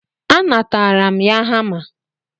A natara m ya hama.